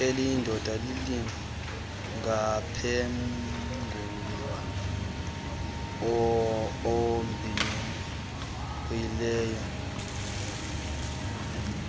eliyindoda lingamphengulula obhinqileyo